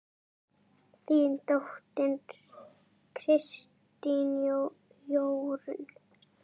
Þín dóttir, Kristín Jórunn.